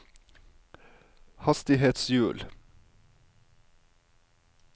hastighetshjul